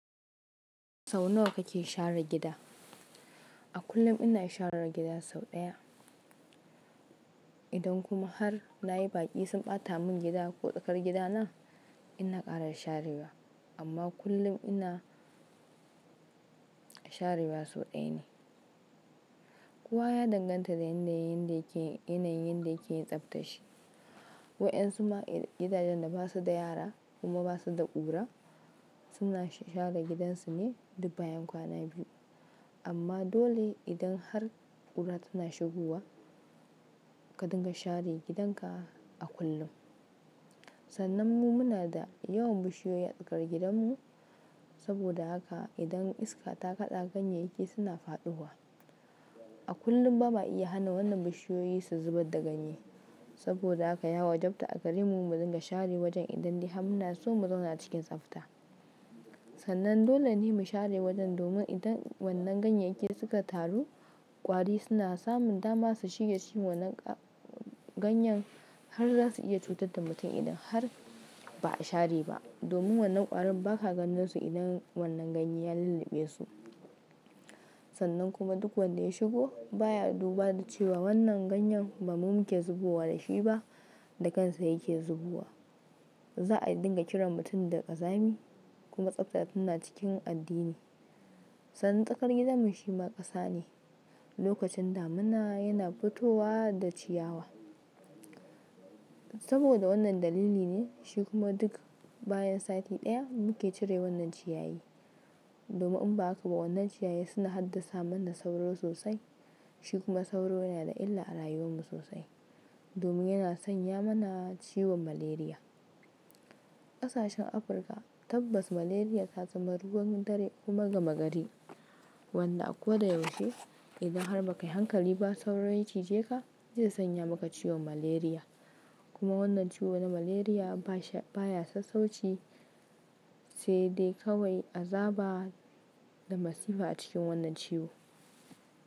Sau nawa kake share gida? A kullum ina share gida sau ɗaya. Idan kuma har nayi ɓaci sun ɓata mun gida ko tsakar gidana ina ƙara sharewa amma kullum ina sharewa sau ɗaya ne. Kowa ya danganta da yanayin yanda yake yin tsafta shi. Waɗansu ma gidajen da basu da yara kuma basu da ƙura suna share gidansu ne duk bayan kwana biyu amma dole idan har ƙura tana shigowa ka dinga share gidanka a kullum. Sannan mu muna da yawan bishiyoyi a tsakar gidanmu saboda haka idan iska ta kaɗa ganye yaki suna faɗowa. A kullum ba ma iya hana wannan bishiyoyi su zubar da ganye saboda haka ya wajabta a gare mu mu dinga share wajen idan dai har muna so mu zauna cikin tsafta. Sannan dole ne mu share wajen domin idan wannan ganye yake suka taru ƙwari suna samun dama su shige cikin wannan ganye har za su iya cutar da mutum idan har ba a share ba domin wannan ƙwarin ba ka gandon su idan wannan ganye ya lulluɓe su. Sannan kuma duk wanda ya shigo baya duba da cewa wannan ganye ba mu muke zubowa da shi ba da kansa yake zubowa. Za a dinga kiran mutum da ƙazami kuma tsabta tana cikin addini. Sannan tsakar gidanmu shi ma ƙasa ne. Lokacin damina yana fitowa da ciyawa saboda wannan dalili ne shi kuma duk bayan sati ɗaya muke cire wannan ciyayi domin in ba haka ba wannan ciyayi suna haddasa mana sauro sosai shi kuma sauro yana da illa a rayuwan mu sosai domin yana sanya mana ciwon Malaria. Ƙasashen Afirka tabbas Malaria ta zama ruwan dare kuma gama gari. Wannan a ko da yaushe idan har ba ka yi hankali ba sauro ci je ka zai sanya maka ciwon Malaria kuma wannan ciwo na Malaria baya sassauci sai dai kawai azaba da masifa a cikin wannan ciwo.